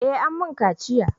Eh an mun kaciya